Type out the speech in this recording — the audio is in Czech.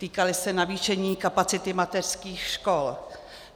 Týkaly se navýšení kapacity mateřských škol.